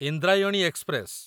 Indrayani express